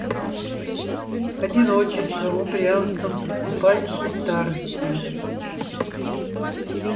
одиночеством упрямством подступающей старостью